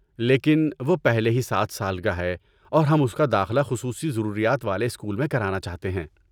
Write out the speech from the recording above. لیکن، وہ پہلے ہی سات سال کا ہے اور ہم اس کا داخلہ خصوصی ضروریات والے اسکول میں کرانا چاہتے ہیں